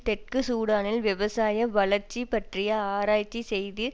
தெற்கு சூடானில் விவசாய வளர்ச்சி பற்றிய ஆராய்ச்சி செய்து